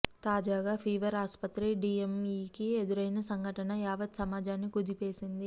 తాజాగా ఫీవర్ ఆసుపత్రి డిఎంఇకి ఎదురైన సంఘటన యావత్ సమాజాన్ని కుదిపేసింది